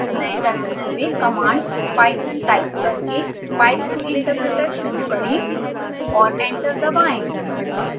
नए टर्मिनल में command python type करके python interpreter शुरू करें और एंटर दबाएं